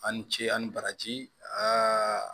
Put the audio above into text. A' ni ce a ni baraji